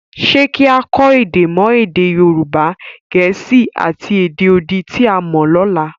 Ṣé kí á kọ́ èdè mọ́ èdè Yorùbá, Gẹ̀ẹ́sì, àti èdè odi tí a mọ lọ́la?